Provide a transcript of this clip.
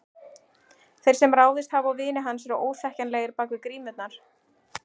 Þeir sem ráðist hafa á vini hans eru óþekkjanlegir bak við grímurnar.